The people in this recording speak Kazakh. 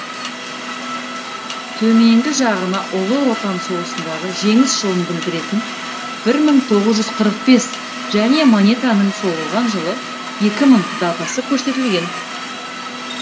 төменгі жағына ұлы отан соғысындағы жеңіс жылын білдіретін бір мың тоғыз жүз қырық бес және монетаның соғылған жылы екі мың датасы көрсетілген